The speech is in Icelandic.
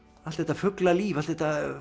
allt þetta fuglalíf allt þetta